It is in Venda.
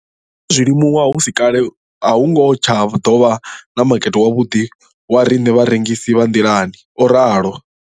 Ndo ḓo zwi limuwa uri hu si kale a hu nga tsha ḓo vha na makete wavhuḓi wa riṋe vharengisi vha nḓilani, o ralo.